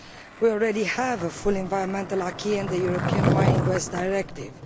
We already have a full environmental in the European Mining Waste Directive.